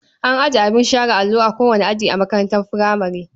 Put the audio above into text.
An ajiye abin share allo a kowane aji a makarantar furamare.